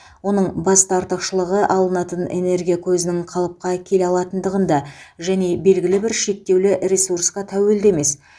оның басты артықшылығы алынатын энергия көзінің қалыпқа келе алатындығында және белгілі бір шектеулі ресурсқа тәуелді емес